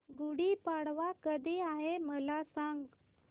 गुढी पाडवा कधी आहे मला सांग